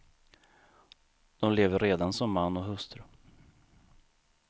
De lever redan som man och hustru.